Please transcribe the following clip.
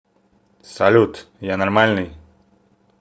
салют я нормальный